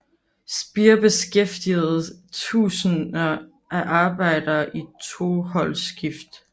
Speer beskæftigede tusinder af arbejdere i toholdsskift